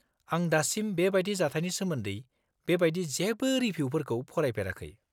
आं दासिम बेबायदि जाथायनि सोमोन्दै बेबायदि जेबो रिबिउफोरखौ फरायफेराखै।